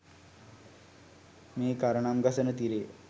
මේ කරණම් ගසන තිරය